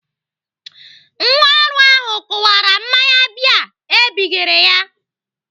Nwa ọrụ ahụ kụwara mmanya bịa ebigere ya.